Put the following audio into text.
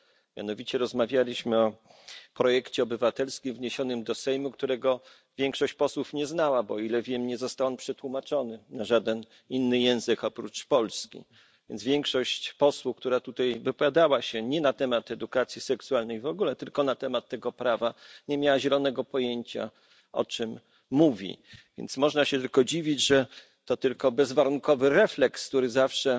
Mianowicie rozmawialiśmy o projekcie obywatelskim wniesionym do Sejmu, którego większość posłów nie znała, bo, o ile wiem, nie został on przetłumaczony na żaden inny język oprócz polskiego, więc większość posłów, która tutaj wypowiadała się nie na temat edukacji seksualnej w ogóle, tylko na temat tego prawa, nie miała zielonego pojęcia, o czym mówi. Można się tylko dziwić, że to tylko bezwarunkowy refleks, który zawsze